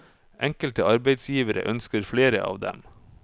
Enkelte arbeidsgivere ønsker flere av dem.